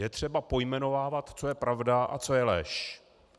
Je třeba pojmenovávat, co je pravda a co je lež.